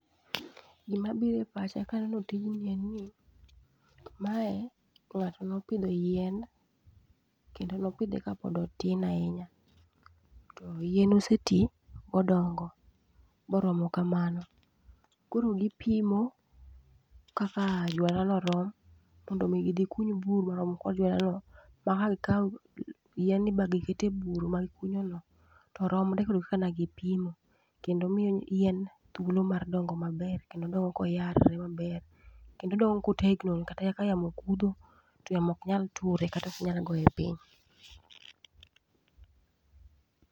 Gima bire pacha kaneno tijni eni, mae ng'ato nopidho yien kendo nopidhe ka pod otin ahinya. To yien oseti modongo boromo kamano, koro gipimo kaka juala no rom, mondo ni gidhi kuny bur marom kod juala no. Ma ka gikawo yieni ni ba gikete bur ba gikunyo no, to romre kod kaka ne gipimo. Kendo miyo yien thuolo mar dongo maber, kendo dongo koyarre maber. Kendo odongo kotegno ma kata kaka yamo kudho to yamo ok nyal ture kata ok nyal goye piny.